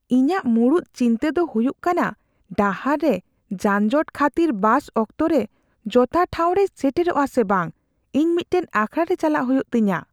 ᱤᱧᱟᱹᱜ ᱢᱩᱲᱩᱫ ᱪᱤᱱᱛᱟᱹ ᱫᱚ ᱦᱩᱭᱩᱜ ᱠᱟᱱᱟ ᱰᱟᱦᱟᱨ ᱨᱮ ᱡᱟᱱᱡᱚᱴ ᱠᱷᱟᱹᱛᱤᱨ ᱵᱟᱥ ᱚᱠᱛᱚᱨᱮ ᱡᱚᱥᱴᱷᱟᱶ ᱨᱮᱭ ᱥᱮᱴᱮᱨᱟ ᱥᱮ ᱵᱟᱝ ᱾ ᱤᱧ ᱢᱤᱫᱴᱟᱝ ᱟᱠᱷᱲᱟᱨᱮ ᱪᱟᱞᱟᱜ ᱦᱩᱭᱩᱜ ᱛᱤᱧᱟᱹ ᱾